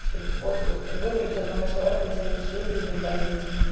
чтобы вот тут выбрать одного человека и с ним всю жизнь прожить